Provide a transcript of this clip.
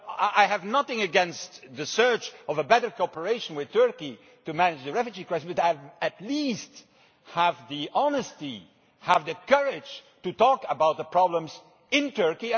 I have nothing against the search for better cooperation with Turkey to manage the refugee crisis, but at least have the honesty and the courage to talk about the problems in Turkey.